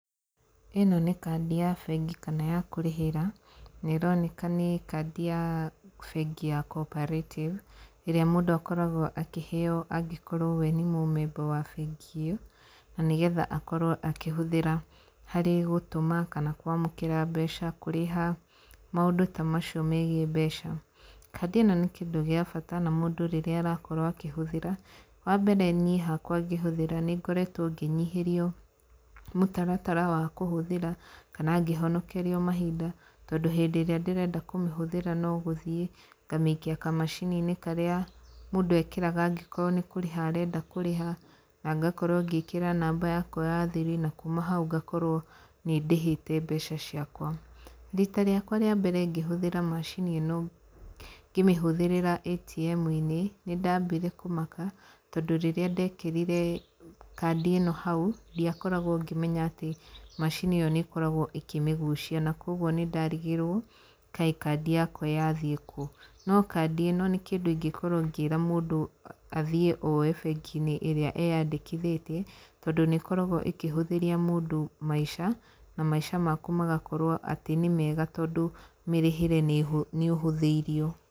Ĩno nĩ kandi ya bengi, kana ya kũrĩhĩra, neroneka nĩ kandi ya bengi ya Cooperative, ĩrĩa mũndũ akoragwo akĩheyo angĩkorwo we nĩ mũmemba wa bengi ĩyo, na nĩgetha akorwo akĩhũthĩra harĩ gũtũma, kana kwamũkĩra mbeca, kũrĩha, maũndũ ta macio megiĩ mbeca, kandi ĩno nĩ kĩndũ gĩa bata, na mũndũ rĩrĩa arakorwo akĩhũthĩra, wa mbere niĩ hakwa ngĩhũthĩra nĩngoretwo ngĩnyihĩrio mũtaratara wa kũhũthĩra, kana ngĩhonokerio mahinda, tondũ hĩndĩ ĩrĩa ndĩrenda kũmĩhũthĩra, no gũthiĩ ngamĩikia kamacini-inĩ karĩa mũndũ ekĩraga angĩkorwo nĩ kũrĩha arenda kũrĩha, na ngakorwo ngĩkĩra namba yakwa ya thiri, na kuuma hau ngakorwo nĩndĩhĩte mbeca ciakwa, rita rĩakwa rĩa mbere ngĩhũthĩra macini ĩno, ngĩmĩhũthĩrĩra ATM-inĩ, nĩ ndambire kũmaka, tondũ rĩrĩa ndekĩrire kandi ĩno hau, ndiakoragwo ngĩmenya atĩ macini ĩyo nĩ koragwo ĩkĩmĩguicia, na kwoguo nĩ ndarigirwo kaĩ kandi yakwa yathiĩ kũ, no kandi ĩno, nĩ kĩndũ ingĩkorwo ngĩra mũndũ athiĩ oye bengi-inĩ ĩrĩa eyandĩkithĩtie, tondũ nĩ ĩkoragwo ĩkĩhũthĩria mũndũ maica, na maica maku magakorwo atĩ nĩ mega, tondũ mĩrĩhĩre nĩhũ nĩũhũthĩirio.